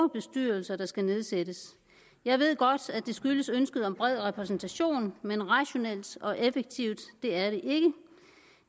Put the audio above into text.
bestyrelser der skal nedsættes jeg ved godt at det skyldes ønsket om bred repræsentation men rationelt og effektivt er det ikke